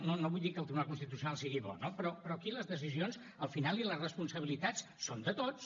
no no vull dir que el tribunal constitucional sigui bo no però aquí les decisions al final i les responsabilitats són de tots